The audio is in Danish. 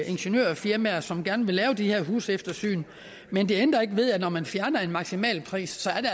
ingeniørfirmaer som gerne vil lave de her huseftersyn men det ændrer ikke ved at der når man fjerner en maksimalpris